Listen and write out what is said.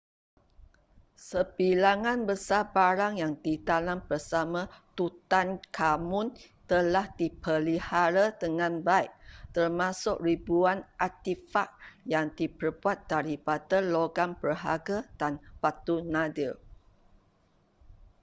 sebilangan besar barang yang ditanam bersama tutankhamun telah dipelihara dengan baik termasuk ribuan artifak yang diperbuat daripada logam berharga dan batu nadir